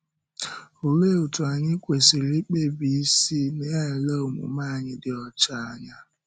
Olee otú anyị kwesị̀rị ikpebi isi na-ele omume anyị dị ọcha anya?